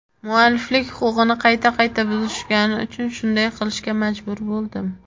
Mualliflik huquqini qayta qayta buzishgani uchun shunday qilishga majbur bo‘ldim.